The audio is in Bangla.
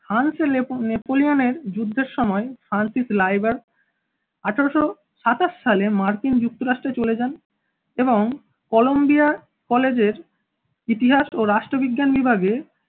হান্স নেপ~ নেপোলিয়নের যুদ্ধের সময় হান্টিস লাইবার আঠারোশ সাতাশ সালে মার্কিন যুক্তরাষ্ট্রে চলে যান এবং কলম্বিয়া college এর ইতিহাস ও রাষ্ট্রবিজ্ঞান বিভাগে